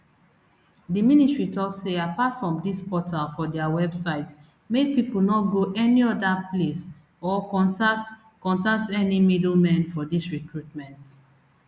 di ministry tok say apart from dis portal for dia website make pipo no go any oda place or contact contact any middlemen for dis recruitment